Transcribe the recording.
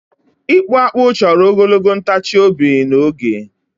ịkpụ akpụ chọrọ ogologo ntachi obi na oge